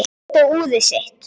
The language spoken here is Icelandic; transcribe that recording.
Hún leit á úrið sitt.